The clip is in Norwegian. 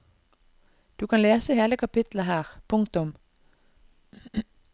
Du kan lese hele kapittelet her. punktum